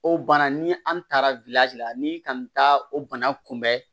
O bana ni an taara la ni ka taa o bana kunbɛn